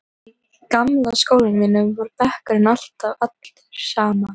Í gamla skólanum mínum var bekkurinn alltaf allur saman.